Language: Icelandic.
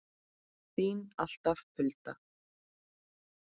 Þín alltaf, Hulda.